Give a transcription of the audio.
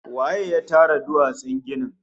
Waye ya tara duwatsun ginin?